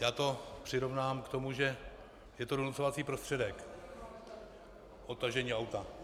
Já to přirovnám k tomu, že je to donucovací prostředek - odtažení auta.